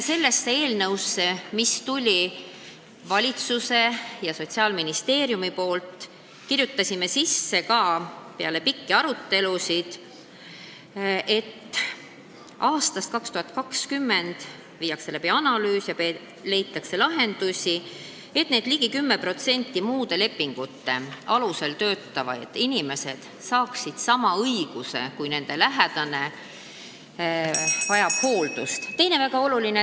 Sellesse eelnõusse, mis meile valitsusest ja Sotsiaalministeeriumist tuli, me kirjutasime peale pikki arutelusid sisse ka, et aastaks 2020 viiakse läbi teemakohane analüüs ja leitakse lahendused, et need ligi 10% muude lepingute alusel töötavaid inimesi saaksid sama õiguse, kui nende lähedane vajab hooldust.